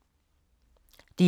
DR1